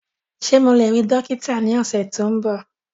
Ṣe Mo le rii dokita ni ọsẹ ti n bọ?